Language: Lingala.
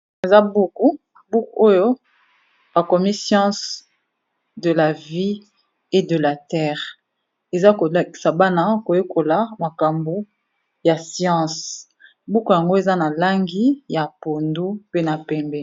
Eza buku, buku oyo ba komi science de la vie et de la terre . Eza ko lakisa bana ko yekola makambu ya science, buku yango eza na langi ya pondu pe na pembe .